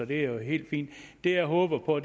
det er jo helt fint det jeg håber på